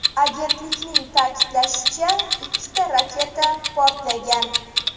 Agentlikning ta’kidlashicha, ikkita raketa portlagan.